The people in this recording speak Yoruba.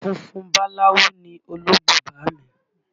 Funfun báláwú ni olóńgbò bàámi